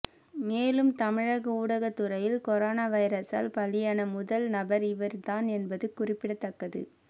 மேலும் தமிழக ஊடகத்துறையில் கொரோனா வைரஸால் பலியான முதல் நபர் இவர் தான் என்பது குறிப்பிடத்தக்கது